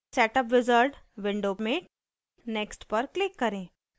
setup wizard window में next पर click करें